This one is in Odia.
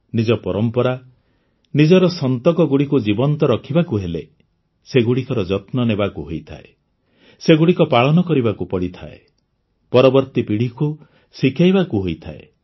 ନିଜ ପରମ୍ପରା ନିଜର ସନ୍ତକଗୁଡ଼ିକୁ ଜୀବନ୍ତ ରଖିବାକୁ ହେଲେ ସେଗୁଡ଼ିକର ଯତ୍ନ ନେବାକୁ ହୋଇଥାଏ ସେଗୁଡ଼ିକ ପାଳନ କରିବାକୁ ପଡ଼ିଥାଏ ପରବର୍ତ୍ତୀ ପିଢ଼ିକୁ ଶିଖାଇବାକୁ ହୋଇଥାଏ